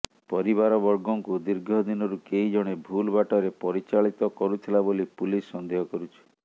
ପରିବାରବର୍ଗଙ୍କୁ ଦୀର୍ଘ ଦିନରୁ କେହି ଜଣେ ଭୁଲ ବାଟରେ ପରିଚାଳିତ କରୁଥିଲା ବୋଲି ପୁଲିସ ସନ୍ଦେହ କରୁଛି